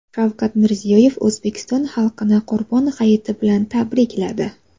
Shavkat Mirziyoyev O‘zbekiston xalqini Qurbon hayiti bilan tabrikladi .